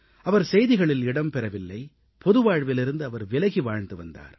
அவர் செய்திகளில் இடம் பெறவில்லை பொதுவாழ்விலிருந்து அவர் விலகி வாழ்ந்து வந்தார்